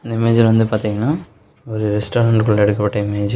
இந்த இமேஜ்ல வந்து பாத்தீங்னா ஒரு ரெஸ்டாரண்டுகுள்ள எடுக்கப்பட்ட இமேஜ் .